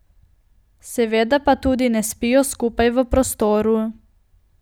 Seveda pa tudi ne spijo skupaj v prostoru.